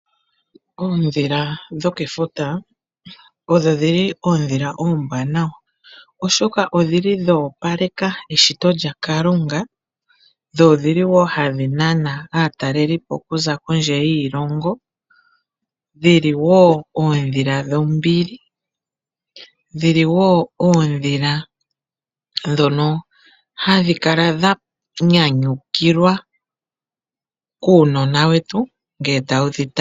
Oondhila dhokefuta odho dhili oondhila oombwanawa, oshoka odhili dho opaleka eshito lya kalunga dho odhili wo hadhi nana aatalelipo kuza kondje yiilongo, dhili woo oondhila dhombili, dhili woo oondhila ndhono hadhi kala dha nyanyukilwa kuunona wetu ngele tawu dhi tala.